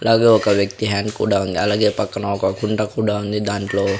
అలాగే ఒక వ్యక్తి హ్యాండ్ కూడా ఉంది అలాగే పక్కన ఒక కుండ కూడా ఉంది దాంట్లో --